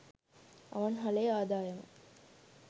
අවන්හලේ ආදායම